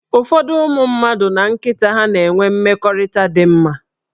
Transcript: Ụfọdụ ụmụ mmadụ na nkịta ha na-enwe mmekọrịta dị mma